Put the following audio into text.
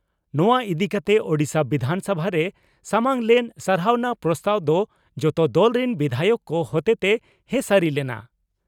ᱱᱚᱣᱟ ᱤᱫᱤ ᱠᱟᱛᱮ ᱳᱰᱤᱥᱟ ᱵᱤᱫᱷᱟᱱᱥᱚᱵᱷᱟ ᱨᱮ ᱥᱟᱢᱟᱝ ᱞᱮᱱ 'ᱥᱟᱨᱦᱟᱣᱱᱟ ᱯᱨᱚᱥᱛᱟᱵᱽ' ᱫᱚ ᱡᱚᱛᱚ ᱫᱚᱞ ᱨᱤᱱ ᱵᱤᱫᱷᱟᱭᱚᱠ ᱠᱚ ᱦᱚᱛᱮᱛᱮ ᱦᱮᱸᱥᱟᱹᱨᱤ ᱞᱮᱱᱟ ᱾